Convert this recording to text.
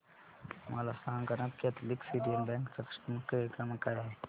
मला सांगाना Catholic Syrian बँक चा कस्टमर केअर क्रमांक काय आहे